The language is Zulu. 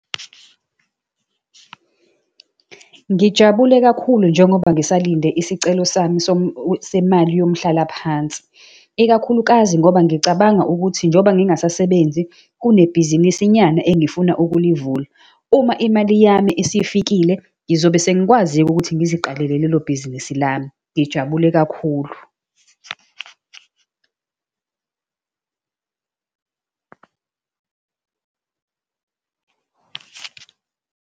Ngijabule kakhulu njengoba ngisalinde isicelo sami semali yomhlalaphansi, ikakhulukazi ngoba ngicabanga ukuthi njengoba ngingasasebenzi kunebhizinisinyana engifuna ukulivula. Uma imali yami isifikile, ngizobe sengikwazi-ke ukuthi ngiziqalele lelo bhizinisi lami. Ngijabule kakhulu.